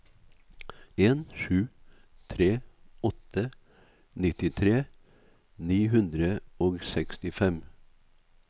en sju tre åtte nittitre ni hundre og sekstifem